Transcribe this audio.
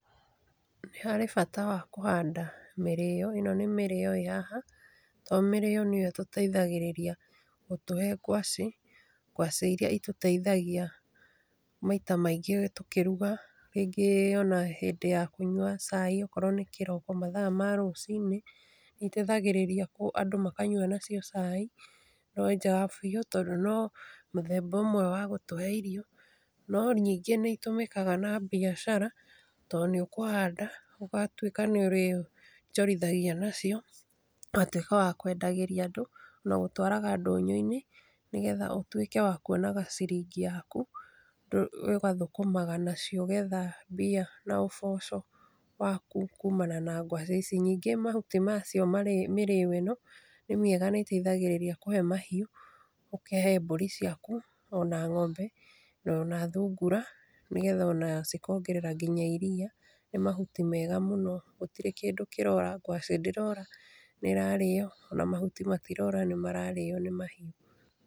Nĩ harĩ bata wa kũhanda mĩrĩo, ĩno nĩ mĩrĩo ĩ haha, to mĩrĩo nĩyo ĩtũteithagĩrĩria gũtũhe ngwaci, ngwaci iria itũteithagia, maita maingĩ tũkĩruga, rĩngĩ ona hĩndĩ ya kũnyua caĩ, okorwo nĩ kĩroko mathaa ma rũcinĩ, nĩiteithagĩrĩria andũ makanyua nacio cai, biũ tondũ no mũthemba ũmwe wa gũtũhe irio, no ningĩ nĩitũmĩkaga na biacara, to nĩũkũhanda, ũgatuĩka nĩũrĩonjorithagia nacio, ũgatuĩka wa kwendagĩria andũ, na gũtwaraga ndũnyũinĩ, nĩgetha ũtuĩke wa kuonaga ciringi yaku, ũgathũkũmaga nacio ũgetha mbia na ũboco waku kumana na ngwaci ici. Ningĩ mahuti macio mĩrĩo ĩno, nĩmĩega nĩiteithagĩrĩria kũhe mahiũ, ũkĩhe mbũri ciaku, ona ng'ombe, ona thungura, nĩgetha ona cikongerera nginya iriia, nĩmahuti mega mũno gũtirĩ kĩndũ kĩrora. Ngwacĩ ndĩrora nĩrarĩo, ona mahuti matirora nĩmararĩo nĩ mahiũ.